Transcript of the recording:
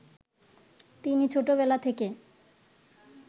তিনি ছোটবেলা থেকে